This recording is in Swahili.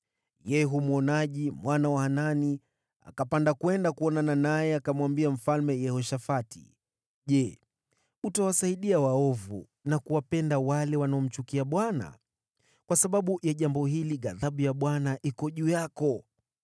Yehu mwonaji, mwana wa Hanani, akapanda kwenda kuonana naye akamwambia Mfalme Yehoshafati, “Je, utawasaidia waovu na kuwapenda wale wanaomchukia Bwana ? Kwa sababu ya jambo hili, ghadhabu ya Bwana iko juu yako.